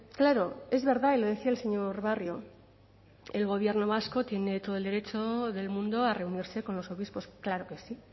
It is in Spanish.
claro es verdad y lo decía el señor barrio el gobierno vasco tiene todo el derecho del mundo a reunirse con los obispos claro que sí